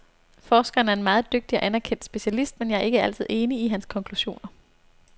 Forskeren er en meget dygtig og anerkendt specialist, men jeg er ikke altid enig i hans konklusioner.